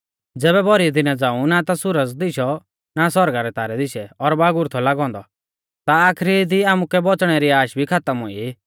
ज़ैबै भौरी दिना झ़ांऊ ना ता सुरज दिशौ ना सौरगा रै तारै दिशै और बागुर थौ लागौ औन्दौ ता आखरी दी आमुकै बौच़णै री आश भी खातम हुई